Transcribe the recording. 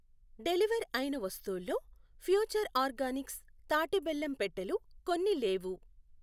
Deliver అయిన వస్తువుల్లో Future Organics తాటి బెల్లం పెట్టెలు కొన్ని లేవు.